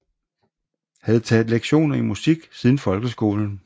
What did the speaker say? Havde taget lektioner i musik siden folkeskolen